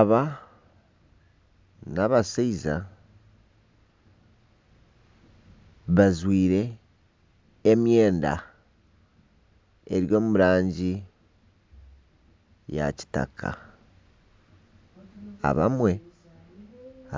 Aba n'abashaija bajwire emyenda eri omu rangi ya kitaka,